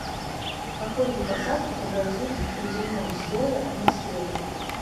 какой вид осадков образуется в приземном слое атмосферы